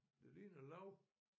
Det ligner lav